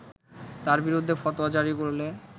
তার বিরুদ্ধে ফতোয়া জারি করলে